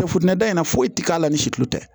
da in na foyi ti k'a la ni situlu tɛ